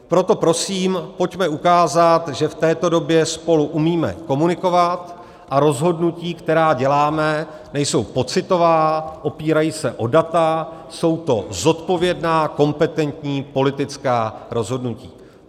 Proto prosím pojďme ukázat, že v této době spolu umíme komunikovat a rozhodnutí, která děláme, nejsou pocitová, opírají se o data, jsou to zodpovědná, kompetentní politická rozhodnutí.